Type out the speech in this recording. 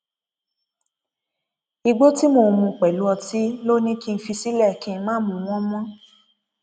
igbó tí mò ń mu pẹlú ọtí ló ní kí n fi sílẹ kí n má mu wọn mọ